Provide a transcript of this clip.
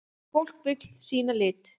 Fólk vill sýna lit.